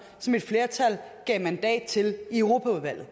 som et flertal gav mandat til i europaudvalget